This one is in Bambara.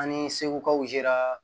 An ni sekukaw sera